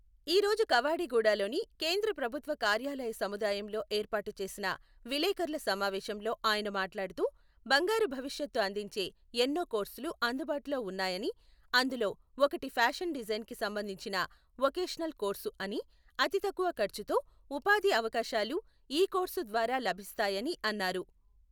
ఈ రోజు కవాడిగూడలోని కేంద్ర ప్రభుత్వ కార్యాలయ సముదాయంలో ఏర్పాటు చేసిన విలేకరుల సమావేశంలో ఆయన మాట్లాడుతూ, బంగారు భవిష్యత్తు అందించే ఎన్నో కోర్సులు అందుబాటులో ఉన్నాయని, అందులో ఒకటి ఫ్యాషన్ డిజైన్‌కి సంబంధిన వొకేషనల్ కోర్సు అని, అతి తక్కువ ఖర్ఛుతో ఉపాధి అవకాశాలు ఈ కోర్సు ద్వారా లభిస్తాయని అన్నారు.